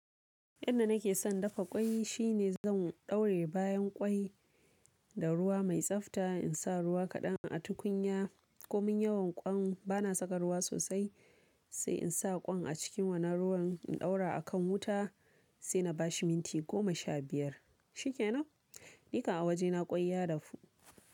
Yadda nake son dafa ƙwai shi ne zan ɗauraye bayan ƙwai da ruwa mai tsafta in sa ruwa kaɗan a tukunya. Ko min yawan ƙwan bana saka ruwa sosai, sai in sa ƙwan a cikin wannan ruwan in ɗaura a kan wuta sai na bashi minti goma sha biyar. Shikenan, ni kan a wajena ƙwai ya dafu.